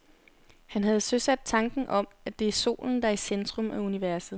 Han havde søsat tanken om, at det er solen, der er i centrum af universet.